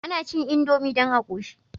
Ana cin indomie dan a koshi